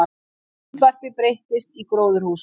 Myndvarpi breyttist í gróðurhús